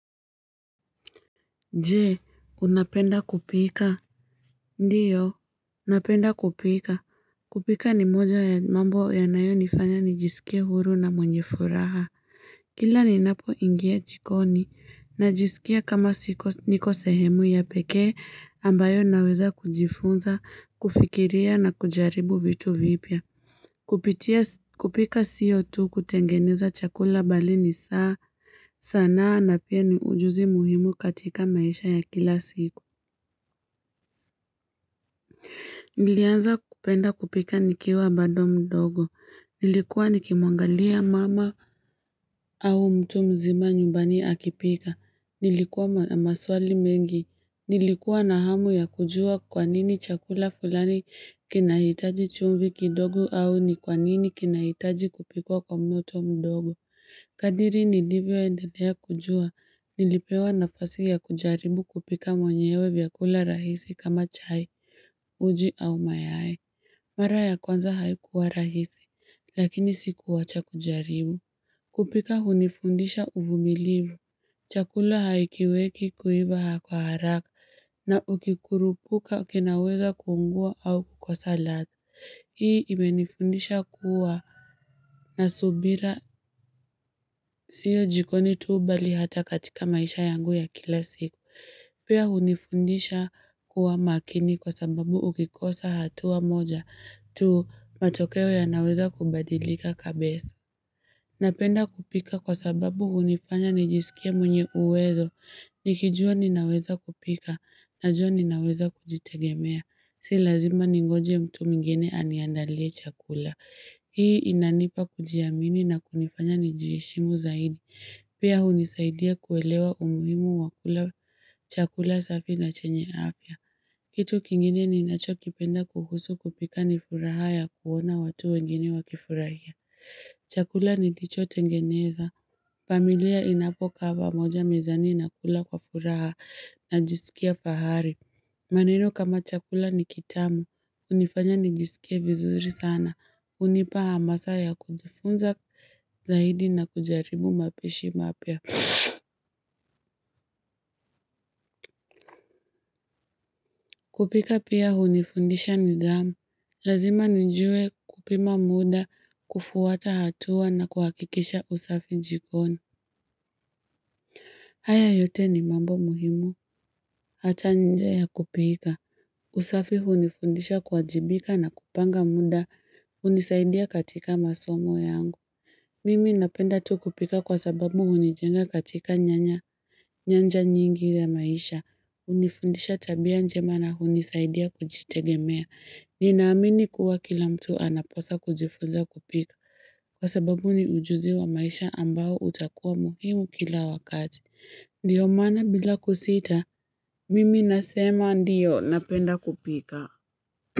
Je, unapenda kupika? Ndio, napenda kupika. Kupika ni moja ya mambo yanayonifanya nijisikie huru na mwenye furaha. Kila ninapoingia jikoni, najisikia kama siko niko sehemu ya pekee ambayo naweza kujifunza, kufikiria na kujaribu vitu vipya. Kupika sio tu kutengeneza chakula bali ni sanaa na pia ni ujuzi muhimu katika maisha ya kila siku. Nilianza kupenda kupika nikiwa bado mdogo. Nilikuwa nikimwangalia mama au mtu mzima nyumbani akipika. Nilikuwa na maswali mengi. Nilikuwa na hamu ya kujua kwa nini chakula fulani kinahitaji chumvi kidogo au ni kwa nini kinahitaji kupikwa kwa moto mdogo. Kadri nilivyoendelea kujua nilipewa nafasi ya kujaribu kupika mwenyewe vyakula rahisi kama chai, uji au mayai. Mara ya kwanza haikuwa rahisi lakini sikuwacha kujaribu. Kupika hunifundisha uvumilivu. Chakula hakiweki kuiva harakaharaka na ukikurupuka kinaweza kuungua au kukosa ladha. Hii imenifundisha kuwa na subira sio jikoni tu bali hata katika maisha yangu ya kila siku. Pia hunifundisha kuwa makini kwa sababu ukikosa hatua moja tu matokeo yanaweza kubadilika kabisa. Napenda kupika kwa sababu hunifanya nijisikie mwenye uwezo. Nikijua ninaweza kupika najua ninaweza kujitegemea. Si lazima ningoje mtu mwingine aniandalie chakula. Hii inanipa kujiamini na kunifanya nijiheshimu zaidi. Pia hunisaidia kuelewa umuhimu wa kula chakula safi na chenye afya. Kitu kingine ninachokipenda kuhusu kupika ni furaha ya kuona watu wengine wakifurahia. Chakula nilichotengeneza, familia inapokaa pamoja mezani inakula kwa furaha najisikia fahari maneno kama chakula ni kitamu, hunifanya nijisikie vizuri sana, hunipa hamasa ya kujifunza zaidi na kujaribu mapishi mapya. Kupika pia hunifundisha nidhamu, lazima nijue kupima muda, kufuata hatua na kuhakikisha usafi jikoni. Haya yote ni mambo muhimu. Hata nje ya kupika. Usafi hunifundisha kuwajibika na kupanga muda. Hunisaidia katika masomo yangu. Mimi napenda tu kupika kwa sababu hunijenga katika nyanja nyingi ya maisha. Hunifundisha tabia njema na hunisaidia kujitegemea. Ninaamini kuwa kila mtu anapaswa kujifunza kupika. Kwa sababu ni ujuzi wa maisha ambao utakuwa muhimu kila wakati. Ndio maana bila kusita, mimi nasema ndio, napenda kupika.